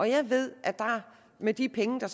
jeg ved at med de penge der